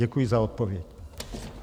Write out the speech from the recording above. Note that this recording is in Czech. Děkuji za odpověď.